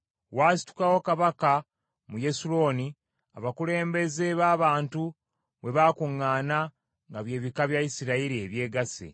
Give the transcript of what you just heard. Waasitukawo kabaka mu Yesuluuni abakulembeze b’abantu bwe baakuŋŋaana nga bye bika bya Isirayiri ebyegasse.